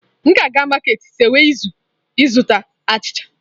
M na-aga maketị sekwe ịzụta achịcha.